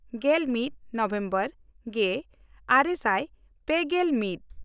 ᱜᱮᱞᱢᱤᱫ November ᱜᱮᱼᱟᱨᱮ ᱥᱟᱭ ᱯᱮᱜᱮᱞ ᱢᱤᱫ